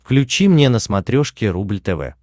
включи мне на смотрешке рубль тв